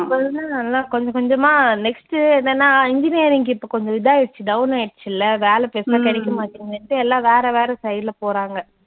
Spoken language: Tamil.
கொஞ்ச கொஞ்சமா next என்னன்னா engineering க்கு இப்ப கொஞ்சம் இதாயிடுச்சு down ஆயிடுச்சு இல்ல வேலை பெருசா கிடைக்க மாட்டேங்குதுன்டு எல்லா வேற வேற side ல போறாங்க.